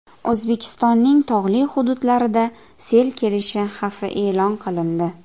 O‘zbekistonning tog‘li hududlarida sel kelishi xavfi e’lon qilindi.